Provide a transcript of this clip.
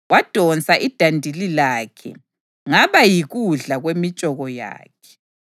Wadonsa idandili lakhe, ngaba yikudla kwemitshoko yakhe.